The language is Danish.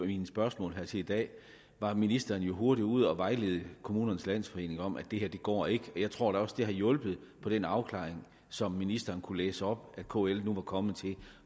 mine spørgsmål til i dag var ministeren jo hurtigt ude at vejlede kommunernes landsforening om at det her går ikke jeg tror da også at det har hjulpet på den afklaring som ministeren kunne læse op at kl nu er kommet til